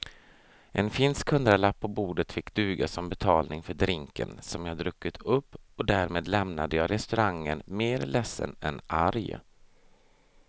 En finsk hundralapp på bordet fick duga som betalning för drinken som jag druckit upp och därmed lämnade jag restaurangen mer ledsen än arg.